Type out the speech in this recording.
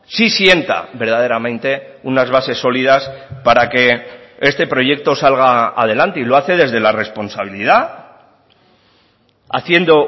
sí sienta verdaderamente unas bases sólidas para que este proyecto salga adelante y lo hace desde la responsabilidad haciendo